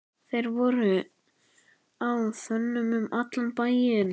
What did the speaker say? Þeir voru á þönum um allan bæinn.